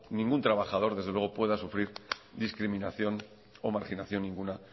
ningún trabajador desde luego pueda sufrir discriminación o marginación ninguna